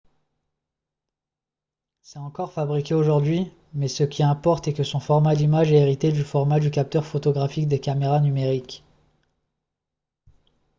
c'est encore fabriqué aujourd'hui mais ce qui importe est que son format d'image est hérité du format du capteur photographique des caméras numériques